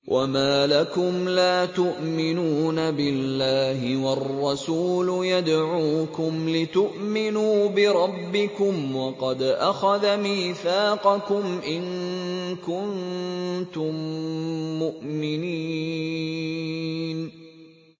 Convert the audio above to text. وَمَا لَكُمْ لَا تُؤْمِنُونَ بِاللَّهِ ۙ وَالرَّسُولُ يَدْعُوكُمْ لِتُؤْمِنُوا بِرَبِّكُمْ وَقَدْ أَخَذَ مِيثَاقَكُمْ إِن كُنتُم مُّؤْمِنِينَ